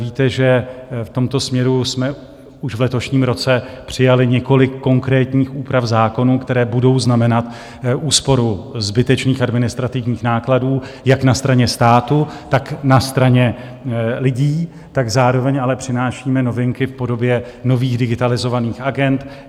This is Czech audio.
Víte, že v tomto směru jsme už v letošním roce přijali několik konkrétních úprav zákonů, které budou znamenat úsporu zbytečných administrativních nákladů jak na straně státu, tak na straně lidí, zároveň ale přinášíme novinky v podobě nových digitalizovaných agend.